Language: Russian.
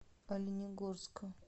оленегорска